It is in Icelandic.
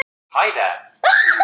Siglt af stað seglum þöndum.